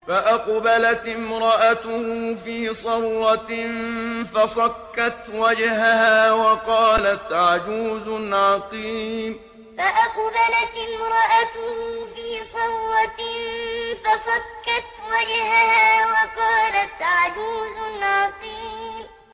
فَأَقْبَلَتِ امْرَأَتُهُ فِي صَرَّةٍ فَصَكَّتْ وَجْهَهَا وَقَالَتْ عَجُوزٌ عَقِيمٌ فَأَقْبَلَتِ امْرَأَتُهُ فِي صَرَّةٍ فَصَكَّتْ وَجْهَهَا وَقَالَتْ عَجُوزٌ عَقِيمٌ